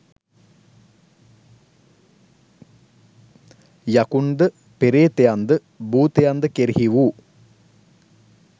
යකුන්ද පේ්‍රතයන්ද භූතයන්ද කෙරෙහි වූ